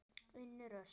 Unnur Ösp.